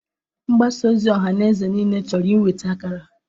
Mgbasa ozi ọhaneze niile chọrọ inweta ákàrà.